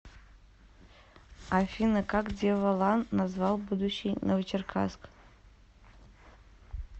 афина как деволан назвал будущий новочеркасск